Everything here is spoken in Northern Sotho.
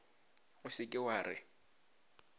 o se ke wa re